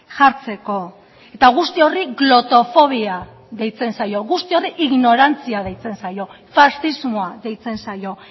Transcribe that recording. jartzeko eta guzti horri glotofobia deitzen zaio guzti horri ignorantzia deitzen zaio faxismoa deitzen zaio